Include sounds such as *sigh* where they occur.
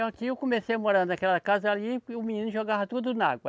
*unintelligible* Eu comecei a morar naquela casa ali e o menino jogava tudo na água.